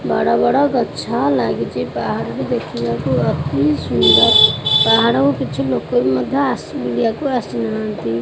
ବଡ଼ ବଡ଼ ଗଛ ଲାଗିଚି ପାହାଡ଼ ବି ଦେଖିବାକୁ ଅତି ସୁନ୍ଦର ପାହାଡ଼କୁ କିଛି ଲୋକ ବି ମଧ୍ୟ ଆସୁ ବୁଲିବାକୁ ଆସୁ ନାହାଁନ୍ତି।